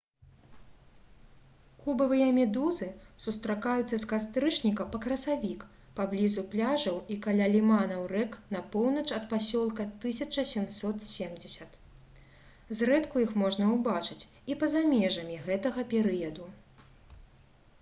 кубавыя медузы сустракаюцца з кастрычніка па красавік паблізу пляжаў і каля ліманаў рэк на поўнач ад пасёлка 1770 зрэдку іх можна ўбачыць і па-за межамі гэтага перыяду